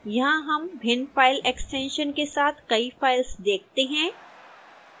यहां हम भिन्न फाइल एक्स्टेंशन के साथ कई फाइल्स देखते हैं